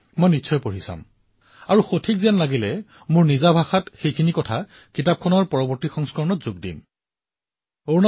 তাৰ ওপৰত মই চিন্তা কৰিম আৰু তাৰ পৰা মই যি ঠিক দেখো সেয়া মই নিজৰ শব্দত নিজৰ ধৰণে লিখিবলৈ চেষ্টা কৰিম আৰু আপোনালোকৰ পৰামৰ্শৰ সংখ্যা অধিক হলে সম্ভৱতঃ নতুন সংস্কৰণো নিশ্চিত হব